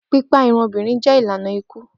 Pipa irun obinrin jẹ ilana iku.